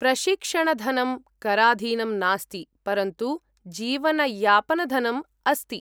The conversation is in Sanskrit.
प्रशिक्षणधनं कराधीनं नास्ति, परन्तु जीवनयापनधनम् अस्ति।